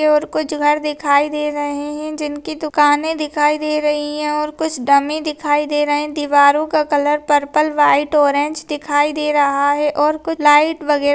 यहाँ कुछ घर दिखाई दे रहे है जिनकी दुकानें दिखाई दे रही है और कुछ डमी दिखाई दे रहे है दीवारों का कलर पर्पल वाइट ओरेंज दिखाई दे रहा है और कुछ लाइट वगैरा --